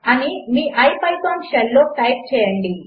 అనిమీipythonషెల్లోటైప్చేయండి